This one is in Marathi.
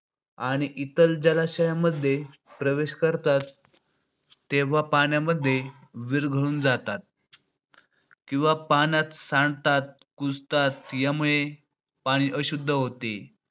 आणि इतर जलाशयामध्ये आपोआप प्रवेश करतात, तेव्हा पाण्यामध्ये विरघळून जातात. किंवा पाण्यात सांडतात, कुजतात यामुळे पाणी अशुद्ध होते.